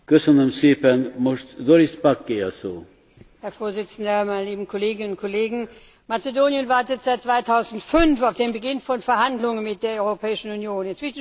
Herr Präsident, meine lieben Kolleginnen und Kollegen! Mazedonien wartet seit 2005 auf den Beginn von Verhandlungen mit der Europäischen Union.